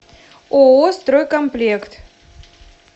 ооо стройкомплект